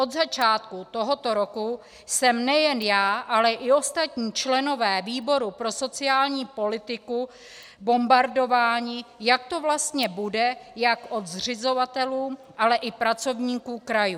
Od začátku tohoto roku jsme nejen já, ale i ostatní členové výboru pro sociální politiku bombardováni, jak to vlastně bude - jak od zřizovatelů, tak i pracovníků krajů.